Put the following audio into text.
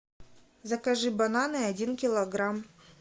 закажи бананы один килограмм